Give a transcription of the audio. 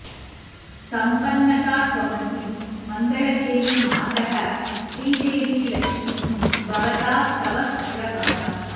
सम्पन्नता त्वमसि मङ्गलदेवि मातः श्रीदेवि लक्ष्मि भवतात्तव सुप्रभातम्